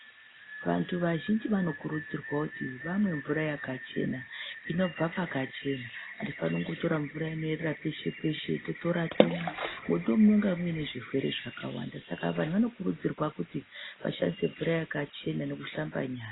Vantu vazhinjj vanokurudzirwa kuti vamwe mvura yakachena inobva paka chena, atifaniri kutora mvura inoerera peshe peshe, totora otomwa nekuti ndimwo munenge mune zvirwere zvakawanda saka vanhu vanokurudzirwa kuti vashandise mvura yakachena nekuhlamba nyara.